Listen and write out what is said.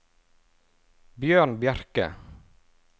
Bjørn Bjerke